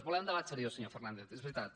volem debat seriós senyor fernández és veritat